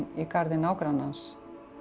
í garði nágrannans